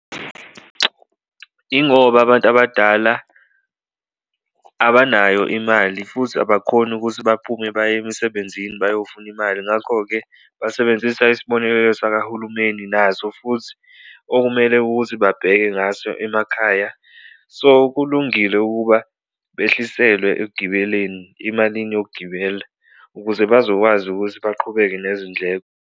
Ingoba abantu abadala abanayo imali futhi abakhoni ukuthi baphume baye emisebenzini bayofuna imali ngakho-ke, basebenzisa isibonelelo sakahulumeni naso futhi okumele ukuthi babheke ngaso emakhaya. So, kulungile ukuba behliselwe ekugibeleni, imalini yokugibela ukuze bazokwazi ukuthi baqhubeke nezindleko.